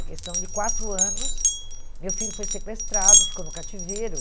em questão de quatro anos, meu filho foi sequestrado, ficou no cativeiro.